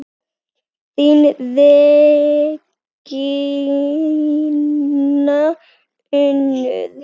Þín Regína Unnur.